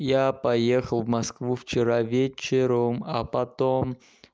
я поехал в москву вчера вечером а потом